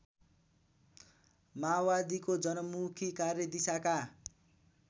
माओवादीको जनमुखी कार्यदिशाका